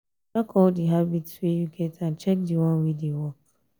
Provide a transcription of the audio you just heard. track all di habits wey you get and check di one wey dey work